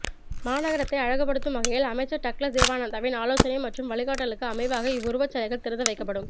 மாநகரத்தை அழகுபடுத்தும் வகையிலும் அமைச்சர் டக்ளஸ் தேவானந்தாவின் ஆலோசனை மற்றும் வழிகாட்டலுக்கு அமைவாக இவ்வுருவச் சிலைகள் திறந்து வைக்கப்படும்